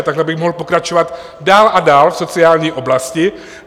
A takhle bych mohl pokračovat dál a dál v sociální oblasti.